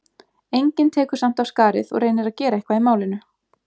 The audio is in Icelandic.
Enginn tekur samt af skarið og reynir að gera eitthvað í málinu.